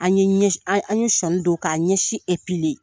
An an ye ɲɛsi an ye sɔnni don k'a ɲɛsin